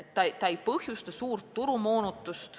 See ei põhjustaks suurt turumoonutust.